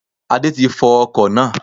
Adé ti fọ ọkò náá